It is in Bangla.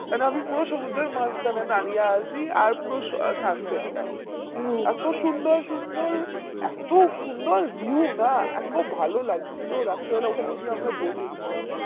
and আমি পুরো সমুদ্রের মাজখানে দারিয়ে আছি আর পুরো sunset টা হচ্ছে এত সুন্দর সুন্দরএতো সুন্দর view না এতো ভালো লাগছিল রাত্রে বেলা ওখানে গিয়ে আমরা বসেছিলাম